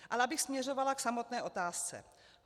Ale abych směřovala k samotné otázce.